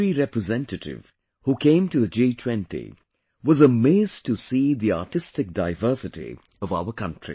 Every representative who came to the G20 was amazed to see the artistic diversity of our country